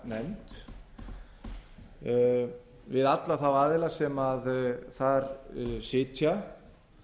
fjárlaganefnd við alla þá aðila sem þar sitja